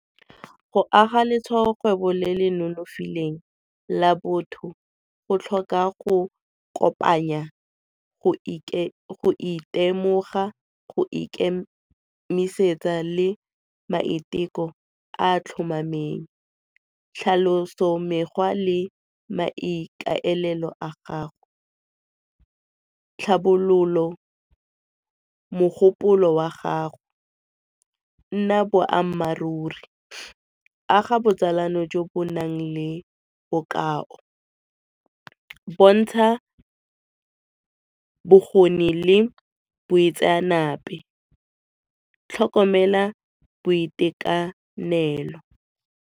Go aga letshwaokgwebo le le nonofileng la botho go tlhoka go kopanya go itemoga, go ikemisetsa le maiteko a a tlhomameng. Tlhaloso, mekgwa le maikaelelo a gago. Tlhabololo, mogopolo wa gago nna boammaruri, aga botsalano jo bo nang le bokao, bontsha bokgoni le boitseanape, tlhokomela boitekanelo.